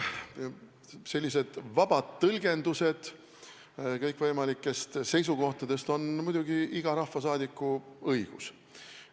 No sellised vabad tõlgendused kõikvõimalikest seisukohtadest on muidugi iga rahvasaadiku õigus.